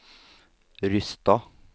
Rysstad